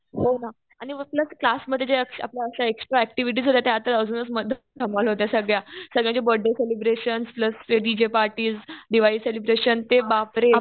हो ना. आणि प्लस क्लासमध्ये जे आहे आपल्या एक्स्ट्रा ऍक्टिव्हिटी होत्या त्या तर अजूनच धमाल होत्या सगळ्या. सगळ्यांचे बर्थडे सेलिब्रेशन प्लस ते डीजे पार्टीज, दिवाळी सेलिब्रेशन ते बापरे.